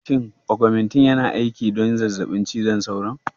Shin augmentin yana aiki don zazzabin cizon sauron?